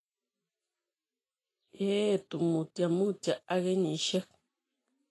Yeetu mutyo mutyo ak kenyisiek